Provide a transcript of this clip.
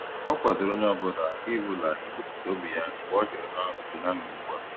O kwadoro onye ọ bụla i bụla i kwupụta obi ya mgbe ọ jụrụ ha otu ha mere ugbu a